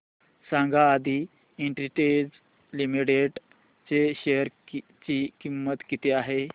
सांगा Aadi industries limited च्या share ची किंमत किती आहे